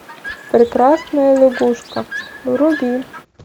прекрасная лягушка вруби